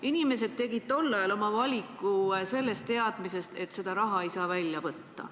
Inimesed tegid tol ajal oma valiku teadmisega, et seda raha ei saa välja võtta.